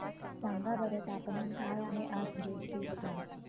सांगा बरं तापमान काय आहे आज जोधपुर चे